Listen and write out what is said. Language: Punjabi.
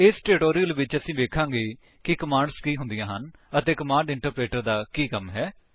ਇਸ ਟਿਊਟੋਰਿਅਲ ਵਿੱਚ ਅਸੀ ਵੇਖਾਂਗੇ ਕਿ ਕਮਾਂਡਸ ਕੀ ਹੁੰਦੀਆਂ ਹਨ ਅਤੇ ਕਮਾਂਡ ਇੰਟਰਪ੍ਰੇਟਰ ਕੀ ਹੁੰਦਾ ਹੈ